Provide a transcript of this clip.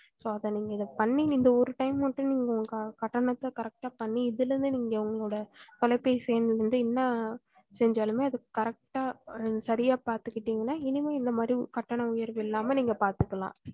so அத நீங்க இதபண்ணி இந்த ஒரு time மட்டும் நீக்க உங்க கட்டணத்தை correct பண்ணி இதுல இருந்து நீங்க உங்களோட தொலைபேசி எண் வந்து என்ன செஞ்சலும்மே அது correct ஹா சரியாய் பாத்துக்கிட்டீங்கன்னா இனிமே இந்த மாரி கட்டண உயர்வு இல்லாம நீங்க பாத்துக்கலாம்